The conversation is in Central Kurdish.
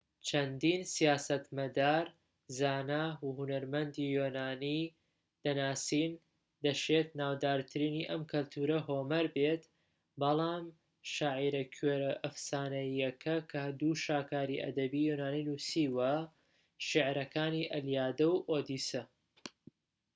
چەندین سیاسەتمەدار زانا و هونەرمەندی یۆنانی دەناسین دەشێت ناودارترینی ئەم کەلتورە هۆمەر بێت شاعیرە کوێرە ئەفسانەییەکە کە دوو شاکاری ئەدەبی یۆنانی نووسیوە شیعرەکانی ئەلیادە و ئۆدیسە